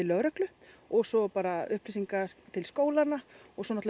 lögreglu og svo upplýsingar til skólanna og svo